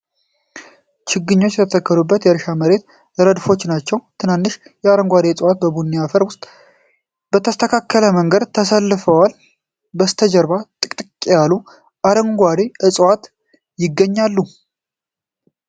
ችግኞች የተተከሉበት የእርሻ መሬት ረድፎች ናቸው። ትናንሽ አረንጓዴ እፅዋት በቡኒ አፈር ውስጥ በተስተካከለ መንገድ ተሰልፈዋል። ከበስተጀርባ ጥቅጥቅ ያሉ አረንጓዴ እፅዋት ይገኛሉ።